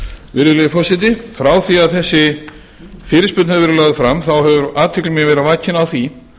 virðulegi forseti frá því að þessi fyrirspurn hefur verið lögð fram hefur athygli mín verið vakin á því